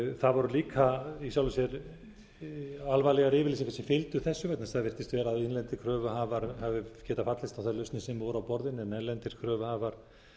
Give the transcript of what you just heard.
það voru líka í sjálfu sér alvarlegar yfirlýsingar sem fylgdu þessu vegna þess að þegar innlendir kröfuhafar höfðu getað fallist á þær lausnir sem voru á borðinu en erlendir kröfuhafar